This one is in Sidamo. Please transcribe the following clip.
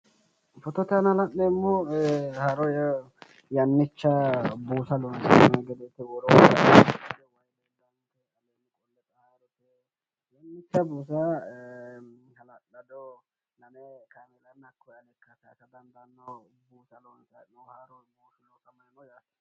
footote aana la'neemmohu haaro ee yannicha buusa loonsanni hee'noonni gedeeti hala'lado buusa haaro buusaati.